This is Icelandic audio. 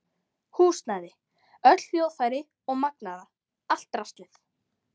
Húsnæði, öll hljóðfæri og magnara, allt draslið.